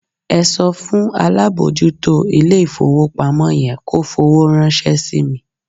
Ẹ sọ fún alábòójútó ilé-ìfowópamọ́ yẹn kó fowó ránṣẹ́ sí mi.